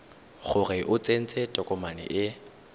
gore o tsentse tokomane e